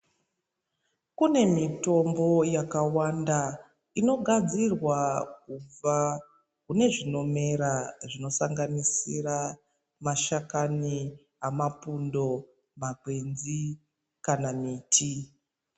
Kune mitombo yakawanda inogadzirwa kubva kune zvinomera zvinosanganisira mashakani amapundo, makwenzi kana miti.